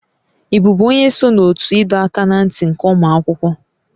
Ị bụbu onye so na ótú ịdọ aka ná ntị ụmụ akwụkwọ?